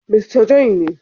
Mista John ne..